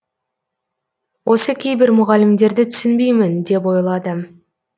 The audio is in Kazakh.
осы кейбір мұғалімдерді түсінбеймін деп ойлады